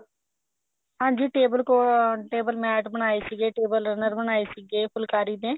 ਹਾਂਜੀ table cover table mat ਬਣਾਏ ਸੀਗੇ table mat ਬਣਾਏ ਸੀਗੇ table runner ਬਣਾਏ ਸੀਗੇ ਫੁਲਕਾਰੀ ਦੇ